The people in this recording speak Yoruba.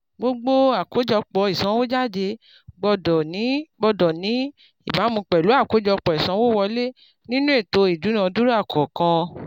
gbogbo àkójọpọ̀ ìsànwójáde gbọ́dọ̀ ní gbọ́dọ̀ ní ìbámu pẹ̀lú àkójọpọ̀ ìsanwówọlé nínú ètò ìdúnadúrà kọ̀ọ̀kan